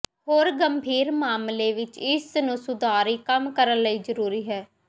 ਹੋਰ ਗੰਭੀਰ ਮਾਮਲੇ ਵਿਚ ਇਸ ਨੂੰ ਸੁਧਾਰੀ ਕੰਮ ਕਰਨ ਲਈ ਜ਼ਰੂਰੀ ਹੈ